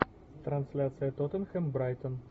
трансляция тоттенхэм брайтон